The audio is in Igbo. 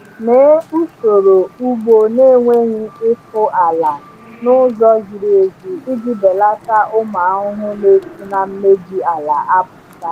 Mee usoro ugbo na-enweghị ịkụ ala (no-till) n’ụzọ ziri ezi iji belata ụmụ ahụhụ na-esi na mmebi ala apụta.